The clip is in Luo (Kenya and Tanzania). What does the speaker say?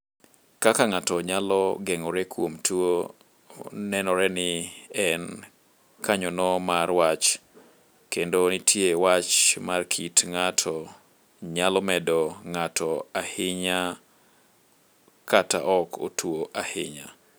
Kaka ng'ato nyalo geng'ore kuom tuo nenore ni en kanyono mar wach, kendo nitie wach mar kit ng'ato nyalo medo ng'ato ahinya kata ok otuo ahinya.